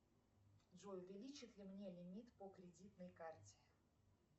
джой увеличат ли мне лимит по кредитной карте